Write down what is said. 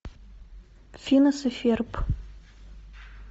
финес и ферб